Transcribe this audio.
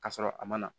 K'a sɔrɔ a ma na